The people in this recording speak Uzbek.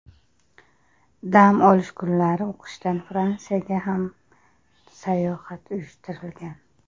Dam olish kunlari o‘qishdan Fransiyaga ham sayohat uyushtirilgan.